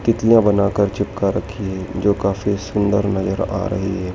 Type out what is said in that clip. तितलियां बना कर चिपका रखी हैं जो काफी सुंदर नजर आ रही है।